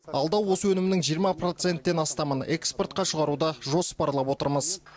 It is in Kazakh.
алда осы өнімнің жиырма проценттен астамын экспортқа шығаруды жоспарлап отырмыз